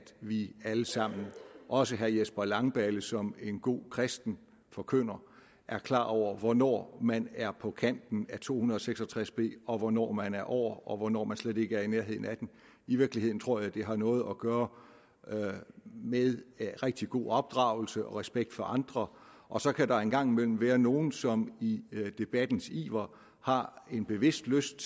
vi alle sammen også herre jesper langballe som en god kristen forkynder er klar over hvornår man er på kanten af § to hundrede og seks og tres b og hvornår man er over og hvornår man slet ikke er i nærheden af den i virkeligheden tror jeg det har noget at gøre med rigtig god opdragelse og respekt for andre og så kan der en gang imellem være nogle som i debattens iver har en bevidst lyst